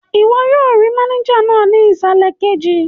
Ìwọ yóò rí mánéjà náà ní ìsàlẹ̀ kejì